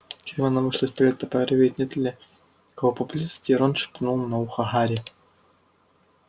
гермиона вышла из туалета проверить нет ли кого поблизости и рон шепнул на ухо гарри